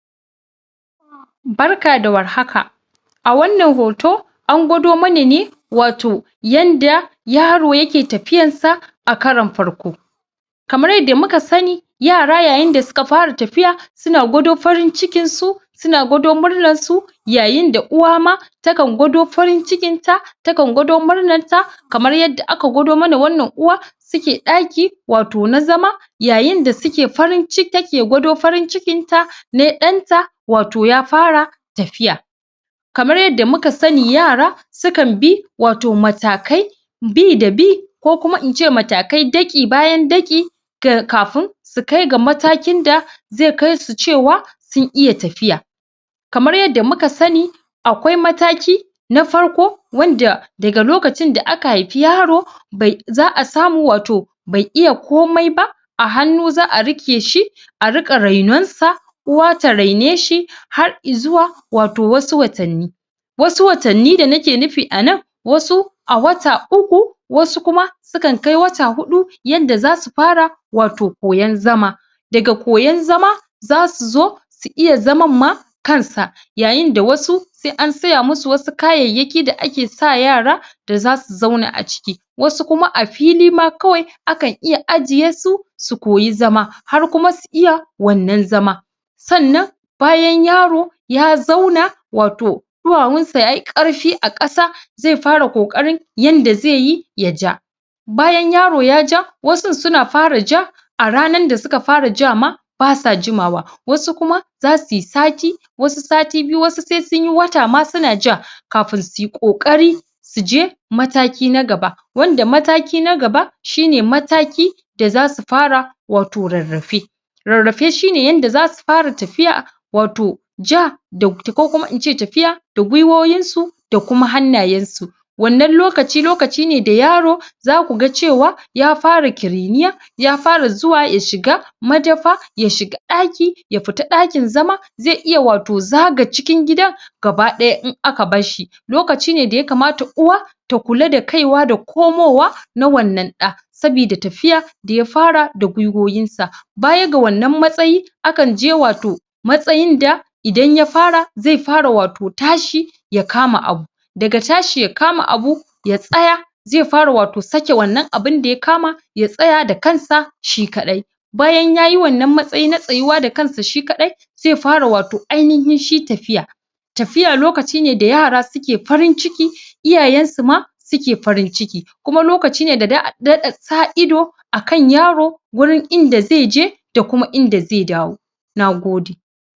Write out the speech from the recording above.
barka da war haka a wannan hoto angwado mana ne wato yadda yaro yake tafiyar sa a karon farko kamar yadda muka sani yara yayin da suka fara tafiya suna gwado farin cikin su suna gwado murnar su yayin da uwa ma takan gwado farin cikin ta ta kan gwado murnar ta kamar yadda aka gwado mana wannan uwa suke daki wato daki na zama yayinda take gwado farin cikin ta ne danta wato yafara tafiya kamar yadda muka sani yara sukan bi wato matakai bidabi ko kuma ince matakai daki bayan daki ga kafin sukai ga matakin da ze kaisu cewa sun iya tafiya kamar yadda muka sani a kawai mataki na farko wanda daga lokacin da aka hifi yaro za'a samu wato be iya komai ba a hannu za'a rike shi a rika renon sa uwa tarene shi har izuwa wato wasu watan ni wasu watan ni da nike nufi anan wasu a wata uku wasu kuma sukan kai wat hudu yadda za su fara wato koyon zama daga koyon zama zasu zo su iya zaman ma kansa yayin da wasu sai an siya masu wasu kayayyaki da ake sa yara da zasu zauna aciki wasu kuma a fili ma kawai akan iya ajiyesu su koyi zama har kuma su iya wannan zama sannan bayan yaro ya zauna wato duwa wun sa yayi karfi a kasa zai fara kokarin yadda zai yi ya ja bayan yaro ya ja wasun suna fara ja a ranar da suka fara ja ma basa juma wa wasu kuma zasu yi sati wasu sati biyu wasu sai sunyi wata ma suna ja kafin suyi kokari suje mataki na gaba wanda mataki nagaba shine mataki da zasu fara wato rarrafe rarrafe shine yadda zasu fara tafiya wato ja ko kuma ince tafiya da gwiwoyin su da kuma hanna yensu wannan lokaci lokaci ne da yaro zaku ga cewa ya fara kiriniya yafara zuwa ya shiga madafa ya shiga daki yafita dakin zama zai iya wato zaga cikin gidan gabadaya in aka barshi lokaci ne da yakamata uwa ta kula da kaiwa da komowa na wannan da sabida tafiya da yafara da gwiwoyinsa bayaga wannan matsayi akan je wato matsayin da idan ya fara zai fara wato tashi yakama abu daga tashi yakama abu ya tsaya zai fara wato sake wannan abun da yakama ya tsaya dakansa shi kadai bayan yayi wannan matsayi na tsayuwa dakansa shikadai zai fara wato ainihin shi tafiya tafiya lokaci ne da yara suke farin ciki iyayen suma suke farin ciki kuma lokaci ne da za'a dada sa idu akan yaro gurin inda ze je da kuma inda ze dawo nagode